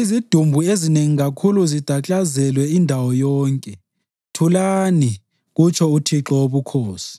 Izidumbu ezinengi kakhulu zidaklazelwe indawo yonke! Thulani!” Kutsho uThixo Wobukhosi.